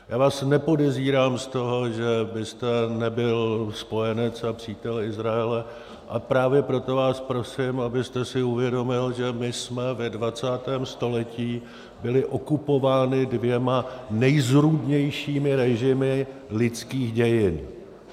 Já vás nepodezírám z toho, že byste nebyl spojenec a přítel Izraele, a právě proto vás prosím, abyste si uvědomil, že my jsme ve 20. století byli okupováni dvěma nejzrůdnějšími režimy lidských dějin.